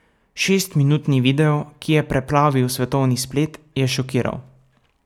Šestminutni video, ki je preplavil svetovni splet, je šokiral.